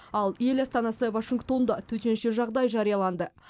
ал ел астанасы вашингтонда төтенше жағдай жарияланды